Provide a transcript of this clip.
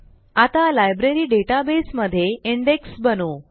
आता library database मध्ये index बनवू